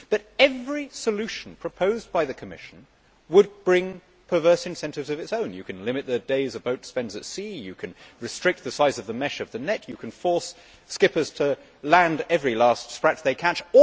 However, every solution proposed by the Commission would bring perverse incentives of its own one can limit the days a boat spends at sea, one can restrict the size of the mesh of the net, one can force skippers to land every last sprat they catch.